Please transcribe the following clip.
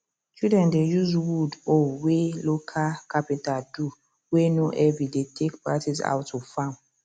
children dey use wood hoe way local carpenter do way no heavy dey take practice how to farm